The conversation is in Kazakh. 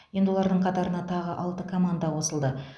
енді олардың қатарына тағы алты команда қосылды